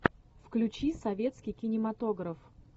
включи советский кинематограф